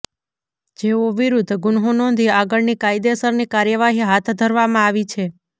જેઓ વિરૂધ્ધ ગુન્હો નોંધી આગળની કાયદેસરની કાર્યવાહી હાથ ધરવામાં આવી છે